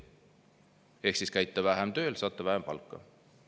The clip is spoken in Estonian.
Ehk käite vähem tööl, saate vähem palka.